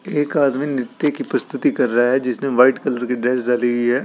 एक आदमी निर्त्य की प्रस्तुति कर रहा है जिसने वाइट कलर की ड्रेस डाली हुई है।